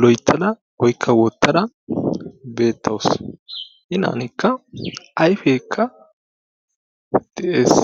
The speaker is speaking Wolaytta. loyttada oykka wottara beettawusu. Inaanikka ayfekka de'ees.